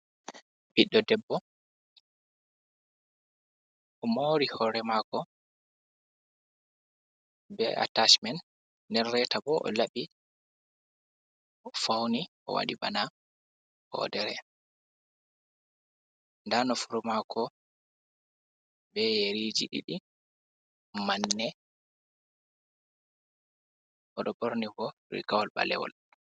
Ɓiɗɗo debbo o mori hore mako, be atacimen nder reta bo o laɓi o fauni o wadi bana hodere, nda nofuru mako be yeriji ɗiɗi manne, oɗo borni bo rigawol ɓalewol.